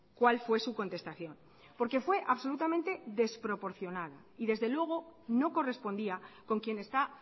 cuál fue su contestación porque fue absolutamente desproporcional y desde luego no correspondía con quien está